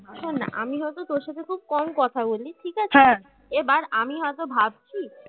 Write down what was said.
শোন আমি হয়তো তোর সাথে খুব কম কথা বলি ঠিক আছে হা এবার আমি হয়তো ভাবছি